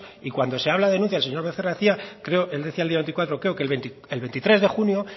y cuando se habla de denuncias señor becerra decía creo el decía el día veinticuatro creo que el veintitrés de junio